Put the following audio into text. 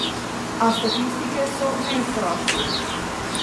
A statistike so neizprosne.